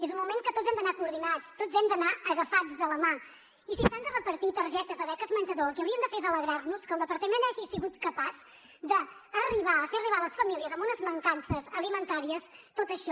és un moment que tots hem d’anar coordinats tots hem d’anar agafats de la mà i si s’han de repartir targetes de beques menjador el que hauríem de fer és alegrar nos que el departament hagi sigut capaç d’arribar de fer arribar a les famílies amb unes mancances alimentàries tot això